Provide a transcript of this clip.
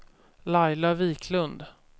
Laila Wiklund